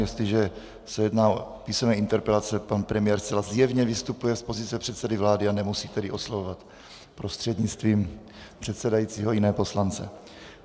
Jestliže se jedná o písemné interpelace, pan premiér zcela zjevně vystupuje z pozice předsedy vlády, a nemusí tedy oslovovat prostřednictvím předsedajícího jiné poslance.